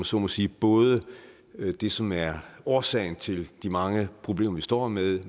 så må sige både det som er årsagen til de mange problemer vi står med